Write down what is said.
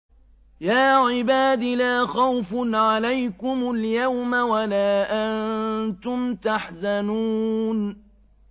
يَا عِبَادِ لَا خَوْفٌ عَلَيْكُمُ الْيَوْمَ وَلَا أَنتُمْ تَحْزَنُونَ